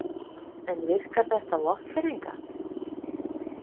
En virkar þetta á Vopnfirðinga?